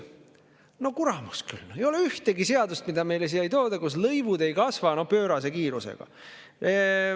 No kuramus küll, ei ole ühtegi seadust, mis meile siia tuuakse, kus lõivud ei kasva pöörase kiirusega.